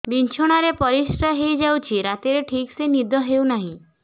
ବିଛଣା ରେ ପରିଶ୍ରା ହେଇ ଯାଉଛି ରାତିରେ ଠିକ ସେ ନିଦ ହେଉନାହିଁ